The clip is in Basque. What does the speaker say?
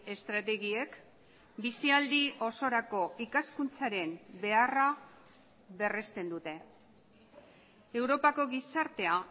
estrategiek bizialdi osorako ikaskuntzaren beharra berresten dute europako gizartea